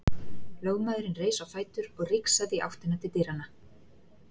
Lögmaðurinn reis á fætur og rigsaði í áttina til dyranna.